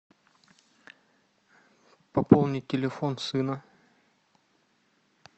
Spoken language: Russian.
пополнить телефон сына